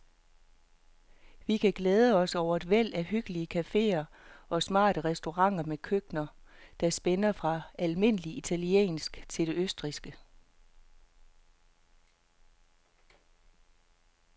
Vi kan glæde os over et væld af hyggelige caféer og smarte restauranter med køkkener, der spænder fra almindelig italiensk til det østrigske.